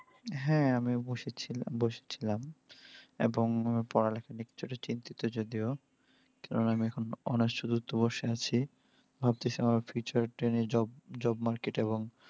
হ্যা আমি বসেছিলাম বসেছিলাম। এবং পড়ালেখা দিক থেকে চিন্তিত যদিও। কেননা আমি এখন অনার্স চতুর্থ বর্ষে আছি। ভাবতেছি আমার future training, job market এবং